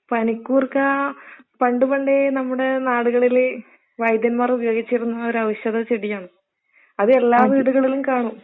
പനിക്കുർക്കാ, പണ്ട് പണ്ടേ നമ്മുടെ നാടുകളില് വൈദ്യന്മാർ ഉപയോഗിച്ചിരിന്ന ഒരു ഔഷധ ചെടിയാണ്. അത് എല്ലാ വീടുകളിലും കാണും.